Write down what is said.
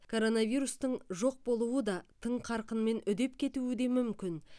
коронавирустың жоқ болуы да тың қарқынмен үдеп кетуі де мүмкін